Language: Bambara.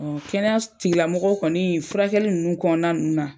Ɔ kɛnɛya tigilamɔgɔw kɔni furakɛli nunnu kɔnɔna nunnu na.